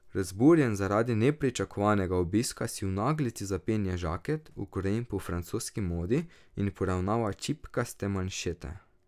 Razburjen zaradi nepričakovanega obiska si v naglici zapenja žaket, ukrojen po francoski modi, in poravnava čipkaste manšete.